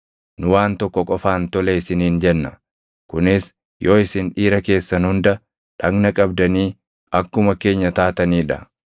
Nu waan tokko qofaan tole isiniin jenna; kunis yoo isin dhiira keessan hunda dhagna qabdanii akkuma keenya taatanii dha.